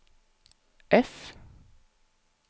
F